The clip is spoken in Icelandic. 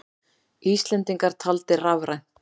Íslendingar taldir rafrænt